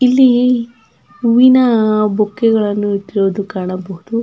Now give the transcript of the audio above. ಇಲ್ಲಿ ಹೂವಿನ ಬುಕ್ಕೇಗಳ್ಳನ್ನು ಇಟ್ಟಿರುವುದನ್ನು ಕಾಣಬಹುದು.